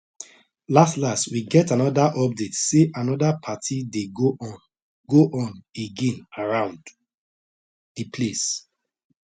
las las we get another update say another party dey go on go on again around that place